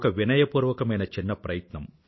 వినయపూర్వకమైన చిన్న ప్రయత్నం